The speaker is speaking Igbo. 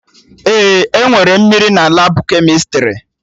Ee, enwere mmiri na Labụ kemịstrị